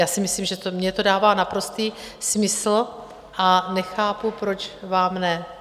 Já si myslím, že mně to dává naprostý smysl, a nechápu, proč vám ne.